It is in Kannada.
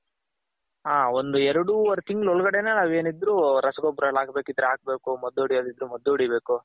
ಹ ಒಂದ್ ಎರಡು ವರೆ ತಿಂಗಳ್ ಒಳ್ಗಡನೆ ನಾವು ಏನಿದ್ರು ರಸಗೊಬ್ಬರ ಎಲ್ಲ ಹಾಕ್ ಬೇಕಿದ್ರೆ ಹಾಕ್ಬೇಕು ಮದ್ದ್ ಹೊಡ್ಯೋದ್ ಇದ್ರೆ ಮದ್ದ್ ಹೊಡಿಬೇಕು.